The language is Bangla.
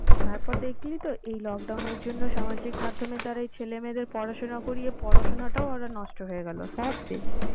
তারপর দেখলি তো এই lockdown এর জন্য সামাজিক মাধ্যমের দ্বারা এই ছেলে মেয়েদের পড়াশোনা করিয়ে পড়াশোনাটাও ওদের নষ্ট হয়ে গেলো সবশেষ।